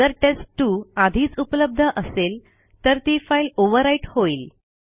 जर टेस्ट2 आधीच उपलब्ध असेल तर ती फाईल ओव्हरराईट होईल